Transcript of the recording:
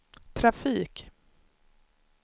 trafik